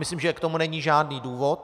Myslím, že k tomu není žádný důvod.